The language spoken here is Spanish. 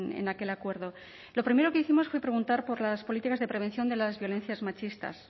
en aquel acuerdo lo primero que hicimos fue preguntar por las políticas de prevención de las violencias machistas